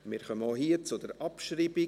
Wir kommen auch hier zur Abschreibung.